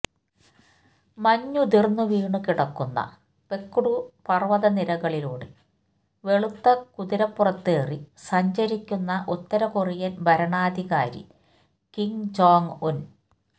മഞ്ഞുതിർന്നുവീണു കിടക്കുന്ന പെക്ടു പർവത നിരകളിലൂടെ വെളുത്ത കുതിരപ്പുറത്തേറി സഞ്ചരിക്കുന്ന ഉത്തര കൊറിയൻ ഭരണാധികാരി കിം ജോങ് ഉൻ